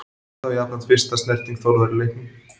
Þetta var jafnframt fyrsta snerting Þórðar í leiknum.